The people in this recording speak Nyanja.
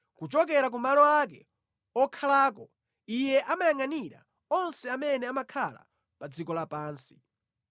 kuchokera ku malo ake okhalako Iye amayangʼanira onse amene amakhala pa dziko lapansi.